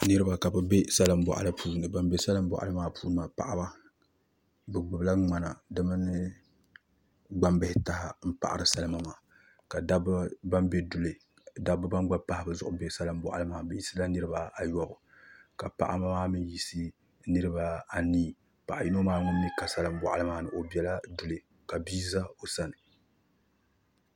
Niraba ka bi bɛ salin boɣali puuni bin bɛ salin boɣali maa puuni maa paɣaba bi gbubila ŋmana gbambihi taha n paɣari salima maa ka dabba ban gba pahi bi zuɣu bɛ salin boɣali maa ni bi yisila niraba ayobu ka paɣaba maa mii yiɣisi niraba anii paɣa yino maa ŋun mii ka salin boɣali maa ni o biɛla duli ka bia ʒɛ o sani